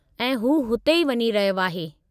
ऐं हू हुते ई वञी रहियो आहे।